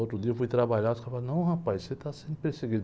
Outro dia eu fui trabalhar e os caras, não, rapaz, você está sendo perseguido.